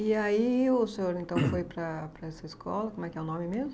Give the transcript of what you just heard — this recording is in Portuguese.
E aí o senhor então foi para para essa escola, como é que é o nome mesmo?